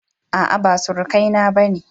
A'a ba surukai na bane